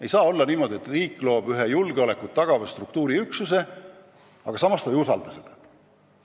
Ei tohi olla niimoodi, et riik loob ühe julgeolekut tagava struktuuriüksuse, aga samas ta ei usalda seda.